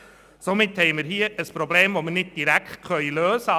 Somit haben wir ein Problem, das wir nicht direkt lösen können.